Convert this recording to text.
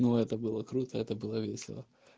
это было круто это было весело